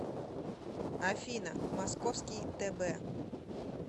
афина московский тб